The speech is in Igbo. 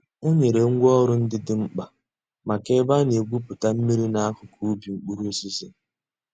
Ọ̀ nyèrè ngwá òrụ̀ ńdí dị̀ m̀kpa mǎká èbè a nà-ègwùpùtà mmìrì n'àkùkò ǔbì mkpụrụ̀ òsísì.